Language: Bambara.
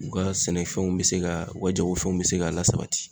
U ka sɛnɛfɛnw be se ka, u ka jagofɛnw be se ka lasabati.